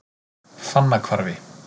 Fannahvarfi